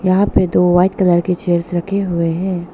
यहां पे दो वाइट कलर के चेयर्स रखे हुए हैं।